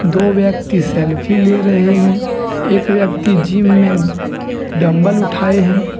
दो व्यक्ति सेल्फी ले रहे हैं एक व्यक्ति जिम में डंबल उठाए हैं।